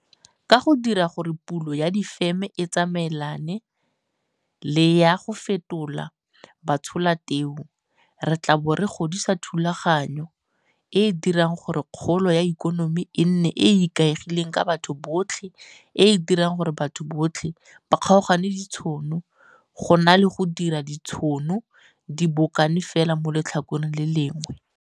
Ka go dira gore pulo ya difeme e tsamaelane le ya go fetola batshola teu, re tla bo re godisa thulaganyo e e dirang gore kgolo ya ikonomi e nne e e ikaegileng ka batho botlhe e e dirang gore batho ba kgaogane ditšhono go na le go dira gore ditšhono di bokane fela mo letlhakoreng le le lengwe.